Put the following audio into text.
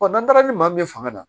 n'an taara ni maa min fanga na